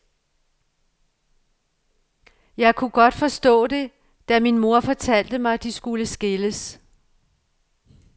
Jeg kunne godt forstå det, da min mor fortalte mig, de skulle skilles.